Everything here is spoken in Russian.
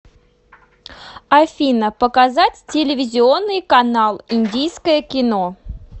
афина показать телевизионный канал индийское кино